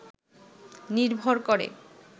নির্ভর করে